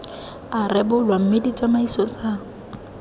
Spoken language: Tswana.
a rebolwa mme ditsamaiso tsa